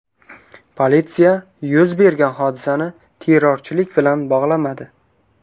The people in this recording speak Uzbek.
Politsiya yuz bergan hodisani terrorchilik bilan bog‘lamadi.